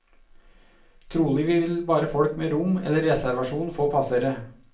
Trolig vil bare folk med rom eller reservasjon få passere.